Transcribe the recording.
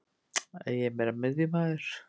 Ég er meira miðjumaður.